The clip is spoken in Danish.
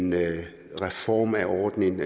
med en reform af ordningen